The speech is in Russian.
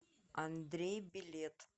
андрей билет